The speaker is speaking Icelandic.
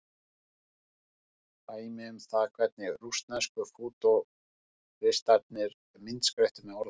Dæmi um það hvernig rússnesku fútúristarnir myndskreyttu með orðum.